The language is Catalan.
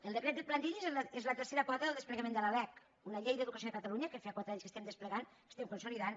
el decret de plantilles és la tercera pota del desple·gament de la lec una llei d’educació de catalunya que fa quatre anys que estem desplegant que estem consolidant